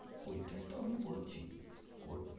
ঐটাই তো আমি বলছি করতে